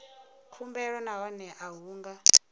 khumbelo nahone a hu nga